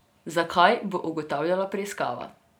Zakaj, bo ugotavljala preiskava.